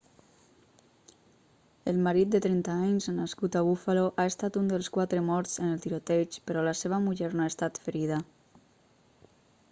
el marit de 30 anys nascut a buffalo ha estat un dels quatre morts en el tiroteig però la seva muller no ha estat ferida